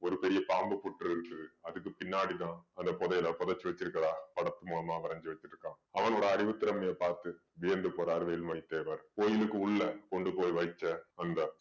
ஒரு பெரிய பாம்பு புற்று இருக்குது அதுக்கு பின்னாடிதான் அந்த புதையலை புதைச்சு வச்சிருக்கிறதா படத்து மூலமா வரைஞ்சு வச்சிருக்கான் அவளோட அறிவுத் திறமையைப் பார்த்து வியந்து போறாரு வேலுமணி தேவர் கோயிலுக்கு உள்ளே கொண்டு போய் வைச்ச அந்த